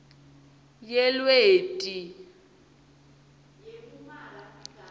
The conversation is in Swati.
yelweti